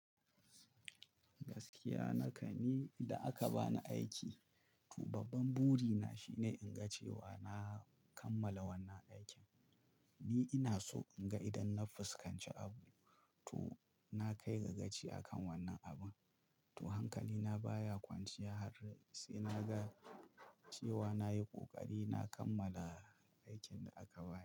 Gaskiya naka ni idan aka bani aiki, to babban buri na shine in ga cewa na kammala wannan aikin. Ni ina so in ga idan na fuskanci abu, to na kai gagaci a kan wannan abun. To hankali na baya kwanciya har sai na ga cewa nayi ƙoƙari na kammala aikin da aka bani.